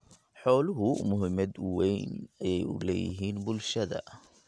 Xooluhu muhiimad weyn ayay u leeyihiin bulshada.